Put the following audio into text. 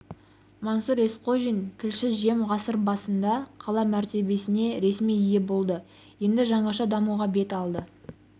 мансұр есқожин тілші жем ғасыр басында қала мәртебесіне ресми ие болды енді жаңаша дамуға бет алды